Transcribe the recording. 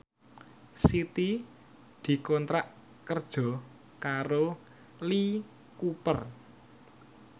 Siti dikontrak kerja karo Lee Cooper